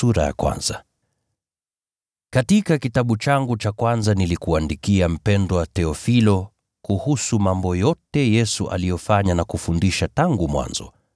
Katika kitabu changu cha kwanza nilikuandikia, mpendwa Theofilo, kuhusu mambo yote Yesu aliyofanya na kufundisha tangu mwanzo,